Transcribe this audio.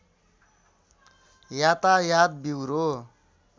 यातायात ब्युरो